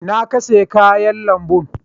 Inna ka siya kayan lambun?